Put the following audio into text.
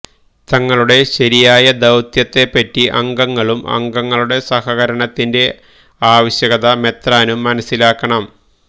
തങ്ങളുടെ ശരിയായ ദൌ ത്യത്തെപ്പറ്റി അംഗങ്ങളും അംഗങ്ങളുടെ സഹകരണത്തിന്റെ ആവശ്യകത മെത്രാനും മനസ്സിലാക്കണം